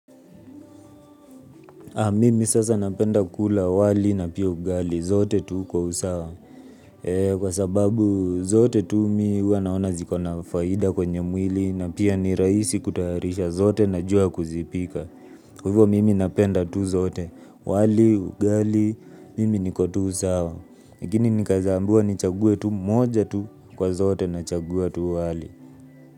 Mimi sasa napenda kula wali na pia ugali zote tu kwa usawa. Kwa sababu zote tu mimi huwa naona zikona faida kwenye mwili na pia ni rahisi kutayarisha zote na jua kuzipika. Kwa hivyo mimi napenda tu zote. Wali, ugali, mimi niko tu usawa. Lakini nikaweza ambiwa ni chague tu moja tu kwa zote na chagua tu wali.